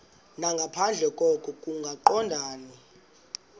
nangaphandle koko kungaqondani